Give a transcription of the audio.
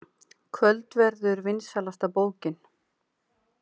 Kvöldverður vinsælasta bókin